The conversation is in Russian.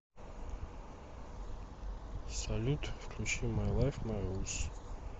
салют включи май лайф май рулс